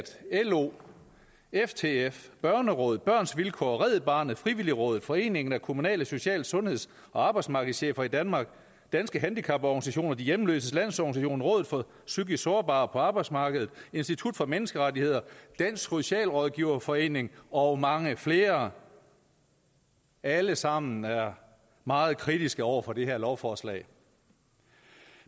lo ftf børnerådet børns vilkår red barnet frivilligrådet foreningen af kommunale social sundheds og arbejdsmarkedschefer i danmark danske handicaporganisationer sand de hjemløses landsorganisation rådet for psykisk sårbare på arbejdsmarkedet institut for menneskerettigheder dansk socialrådgiverforening og mange flere alle sammen er meget kritiske over for det her lovforslag